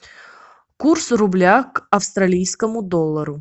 курс рубля к австралийскому доллару